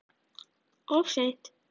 Of seint